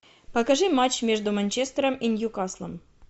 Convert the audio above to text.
покажи матч между манчестером и ньюкаслом